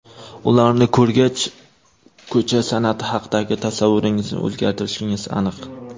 Ularni ko‘rgach, ko‘cha san’ati haqidagi tasavvuringizni o‘zgartirishingiz aniq.